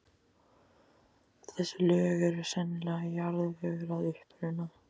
Þessi lög eru sennilega jarðvegur að uppruna.